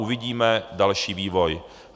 Uvidíme další vývoj.